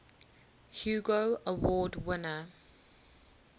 hugo award winner